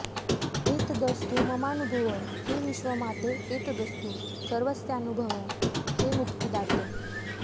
एतदस्तु ममानुभवं हे विश्वमाते एतदस्तु सर्वस्यानुभवं हे मुक्तिदाते